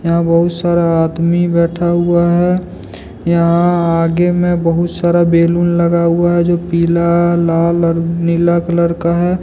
यहां बहुत सारा आदमी बैठा हुआ है यहां आगे में बहुत सारा बैलून लगा हुआ है जो पीला लाल और नीला कलर का है।